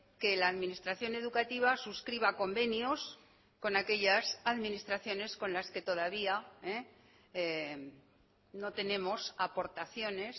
que la administración educativa suscriba convenios con aquellas administraciones con las que todavía no tenemos aportaciones